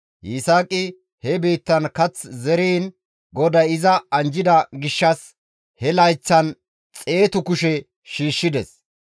Yisaaqi he biittan kath zeriin GODAY iza anjjida gishshas he layththan xeetu kushe shiishshides.